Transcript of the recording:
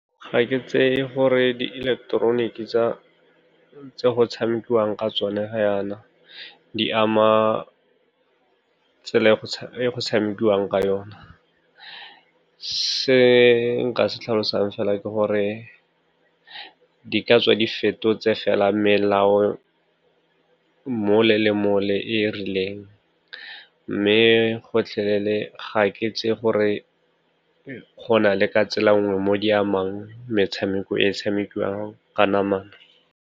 Ga ke tseye gore di ileketeroniki tse go tshamekiwang ka tsone ga yana di ama tsela e go tshamekiwang ka yona. Se nka se tlhalosang fela ke gore di ka tswa di fetotse fela melao mole le mole e e rileng, mme gotlhelele ga ke itse gore go na le ka tsela nngwe mo di amang metshameko e e tshamekiwang ka namana.